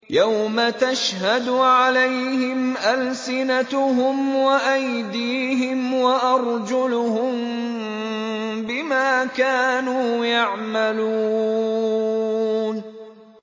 يَوْمَ تَشْهَدُ عَلَيْهِمْ أَلْسِنَتُهُمْ وَأَيْدِيهِمْ وَأَرْجُلُهُم بِمَا كَانُوا يَعْمَلُونَ